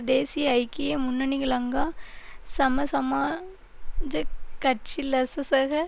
தேசிய ஐக்கிய முன்னணிகலங்கா சம சமாஜக் கட்சி லசசக